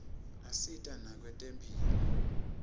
asita nakwetemphilo